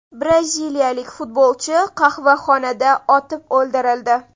Braziliyalik futbolchi qahvaxonada otib o‘ldirildi.